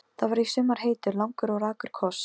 Það var í sumar heitur, langur og rakur koss.